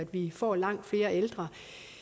vi får langt flere ældre